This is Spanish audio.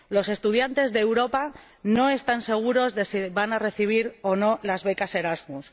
Los estudiantes de Europa no están seguros de si van a recibir o no las becas Erasmus.